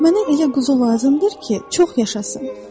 Mənə elə quzu lazımdır ki, çox yaşasın.